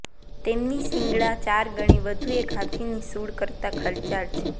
તેમની શિંગડા ચાર ગણી વધુ એક હાથી ની શૂળ કરતાં ખર્ચાળ છે